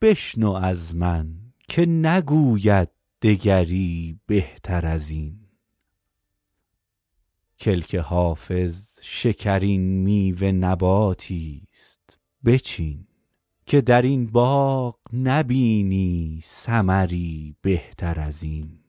بشنو از من که نگوید دگری بهتر از این کلک حافظ شکرین میوه نباتی ست بچین که در این باغ نبینی ثمری بهتر از این